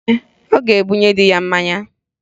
Ee, ọ ga-ebunye dị ya mmanya